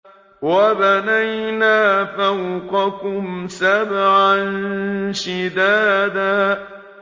وَبَنَيْنَا فَوْقَكُمْ سَبْعًا شِدَادًا